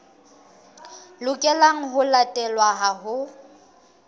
lokelang ho latelwa ha ho